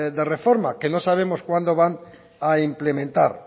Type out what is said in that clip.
de reforma que no sabemos cuándo van a implementar